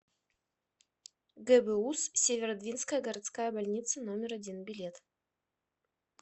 гбуз северодвинская городская больница номер один билет